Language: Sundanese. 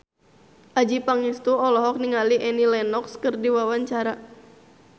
Adjie Pangestu olohok ningali Annie Lenox keur diwawancara